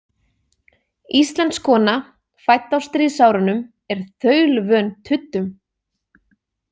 Íslensk kona fædd á stríðsárunum er þaulvön tuddum.